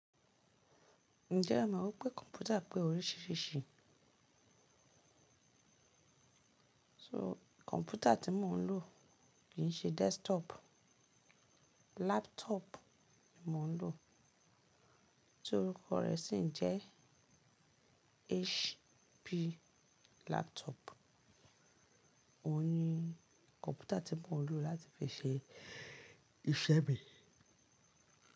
Ǹjẹ́ o mọ̀ wípé kọ̀mpútà pé oríṣiríṣi? So kọ̀mpútà tí mò ń lò kì í ṣe desktop, laptop ni mò ń lò, tí orúkọ rè sì ń jẹ́ HP laptop. Ó ní kọ̀mpútà tí mò ń lò láti fi ṣe iṣẹ́ mi.